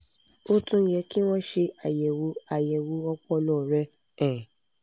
ó tún yẹ kí wọ́n ṣe àyẹ̀wò àyẹ̀wò ọpọlọ rẹ um